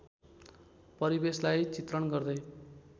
परिवेशलार्इ चित्रण गर्दै